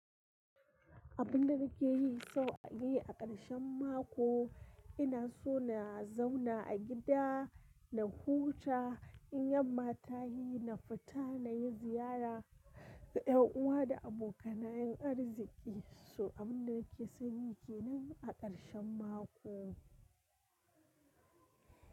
Abun da nake yi sau a yi a ƙarshen mako ina so na zauna a gida, na huta in yamma ta yi, na fita na yi ziyara, da yan uwa da abokanayen arziki, so abun da nake son yi kenan a ƙarshen mako.